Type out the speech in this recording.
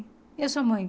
E a sua mãe?